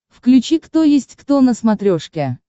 включи кто есть кто на смотрешке